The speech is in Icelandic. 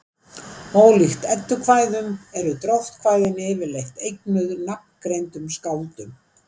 Ólíkt eddukvæðum eru dróttkvæðin yfirleitt eignuð nafngreindum skáldum.